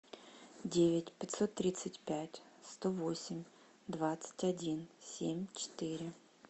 девять пятьсот тридцать пять сто восемь двадцать один семь четыре